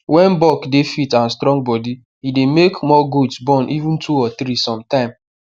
when buck dey fit and strong body e dey make more goats born even two or three sometime